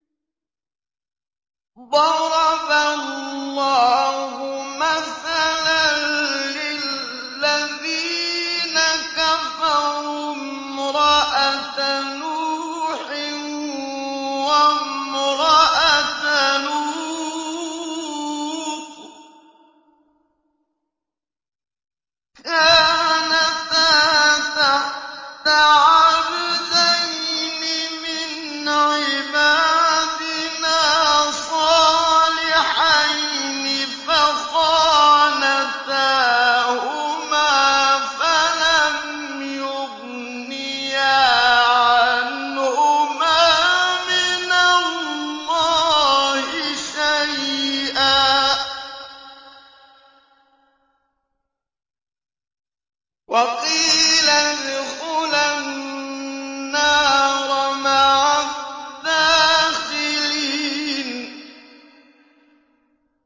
ضَرَبَ اللَّهُ مَثَلًا لِّلَّذِينَ كَفَرُوا امْرَأَتَ نُوحٍ وَامْرَأَتَ لُوطٍ ۖ كَانَتَا تَحْتَ عَبْدَيْنِ مِنْ عِبَادِنَا صَالِحَيْنِ فَخَانَتَاهُمَا فَلَمْ يُغْنِيَا عَنْهُمَا مِنَ اللَّهِ شَيْئًا وَقِيلَ ادْخُلَا النَّارَ مَعَ الدَّاخِلِينَ